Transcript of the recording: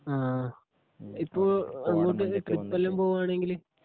ആ ഇപ്പോ അങ്ങോട്ടേക്ക് ട്രിപ്പ് എല്ലാം പോകുകയാണെങ്കിൽ